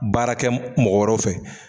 Baarakɛ mɔgɔ wɛrɛ fɛ.